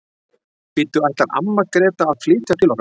Bíddu, ætlar amma Gréta að flytja til okkar?